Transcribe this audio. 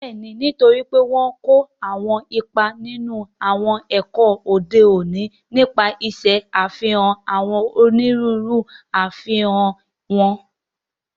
Bẹ́ẹ̀ni, nítorí pé wọ́n n kó àwọn ipa nínú àwọn ẹ̀ka òde òní, nípa ṣíṣe àfihàn àwọn onírúurú àfikún wọn